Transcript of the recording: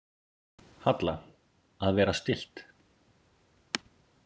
Halla: Að vera stillt.